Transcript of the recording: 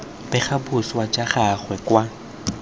bega boswa jwa gagwe kwa